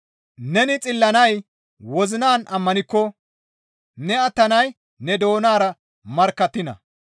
Neni xillanay wozinan ammanikko; ne attanay ne doonara markkattiina.